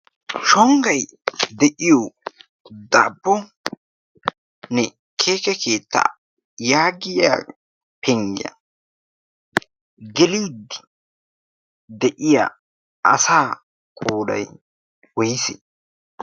shonggay de'iyo daabbone keeke keetta yaagiya penggiyaa gelidi de'iya asa qoodai wois